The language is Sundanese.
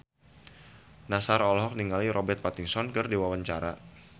Nassar olohok ningali Robert Pattinson keur diwawancara